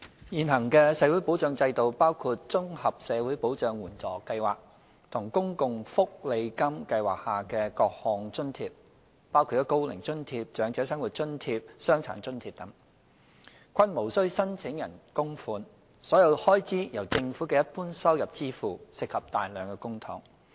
現行的社會保障制度，包括綜合社會保障援助計劃和公共福利金計劃下的各項津貼，包括"高齡津貼"、"長者生活津貼"、"傷殘津貼"等，均無須申請人供款，所有開支由政府的一般收入支付，涉及大量公帑。